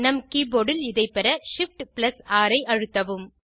நம் கீபோர்ட் இல் இதை பெற shift6 ஐ அழுத்தவும்